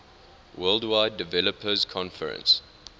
worldwide developers conference